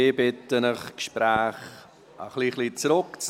Ich bitte Sie, die Gespräche ein bisschen zurückzunehmen.